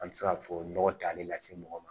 An bɛ se ka fɔ nɔgɔ tan ne la se mɔgɔ ma